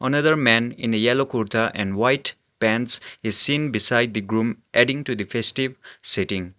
another man in a yellow kurta and white pants is seen beside the groom adding to the festive setting.